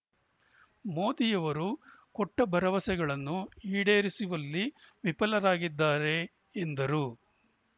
ಮೋದಿಯವರು ಕೊಟ್ಟಭರವಸೆಗಳನ್ನು ಈಡೇರಿಸುವಲ್ಲಿ ವಿಫಲರಾಗಿದ್ದಾರೆ ಎಂದರು